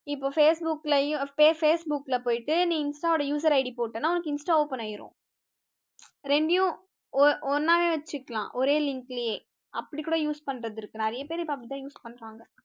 இப்ப facebook ல facebook ல போயிட்டு நீ insta வோட user id போட்டேன்னா உனக்கு insta open ஆயிரும், இரண்டையும் ஒண்ணாவே வச்சுக்கலாம் ஒரே link லயே அப்படி கூட use பண்றது இருக்கு நிறைய பேர் இப்ப அப்படித்தான் use பண்றாங்க